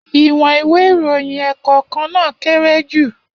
Iwọn ìwé íròyìn ẹ́ẹ́kọ̀kan naa kere ju.